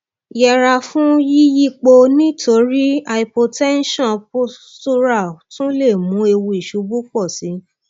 yẹra fún yíyípo níorí hypotension postural tún lè mú ewu ìṣubú pọ sí i